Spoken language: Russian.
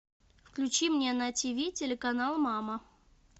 включи мне на тиви телеканал мама